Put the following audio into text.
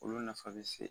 Olu nafa bɛ se